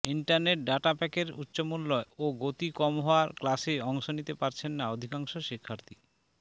internet data প্যাকের উচ্চমূল্য ও গতি কম হওয়ায় ক্লাসে অংশ নিতে পারছেন না অধিকাংশ শিক্ষার্থী